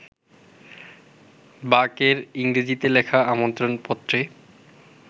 বাক-এর ইংরেজিতে লেখা আমন্ত্রণপত্রে